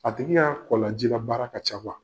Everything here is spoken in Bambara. A tigi ka kɔlɔnlaji ka baara ka ca